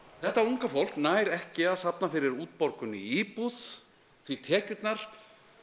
þetta unga fólk nær ekki að safna fyrir útborgun í íbúð því tekjurnar